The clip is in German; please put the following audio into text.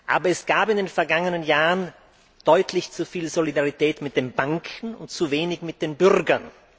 Aber es gab in den vergangenen Jahren deutlich zu viel Solidarität mit den Banken und zu wenig mit den Bürgern.